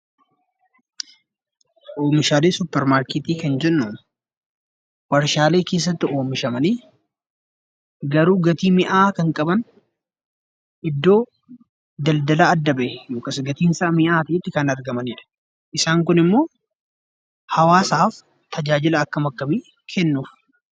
Oomishaalee suupermaarkeetii kan jennuu, waarshaalee keessatti oomishamanii garuu gatii mi'aawaa kan qaban iddoo daldalaa adda bahe akkas gatiin isaa mi'aan kan argamanidha. Isaan Kun immoo hawaasaaf tajaajila akkam akkamii kennu ?